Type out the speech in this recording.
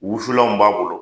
Wusulanw b'a bolo.